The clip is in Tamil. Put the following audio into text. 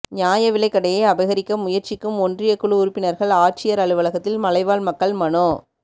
நியாய விலைக்கடையை அபகரிக்க முயற்சிக்கும் ஒன்றியக் குழு உறுப்பினா்கள் ஆட்சியா் அலுவலகத்தில் மலைவாழ் மக்கள் மனு